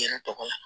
Yɛrɛ tɔgɔ la